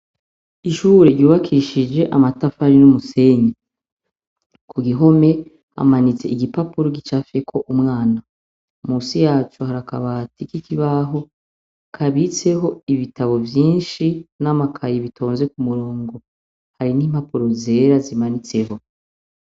Ishure ryubakishije amatafari n'umusenyi. Ku gihome hamanitse igipapuro gicafyeko umwana. Munsi yaco hari akabati k'ikibaho kabitseho ibitabu vyinshi n'amakaye bitonze ku murongo. Hari n'impapuro zera zimanitseho.